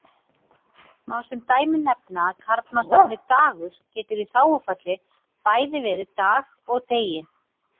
Má sem dæmi nefna að karlmannsnafnið Dagur getur í þágufalli bæði verið Dag og Degi.